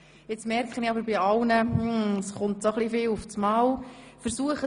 Jetzt stelle ich aber fest, dass Sie sich zu allem auf einmal äussern.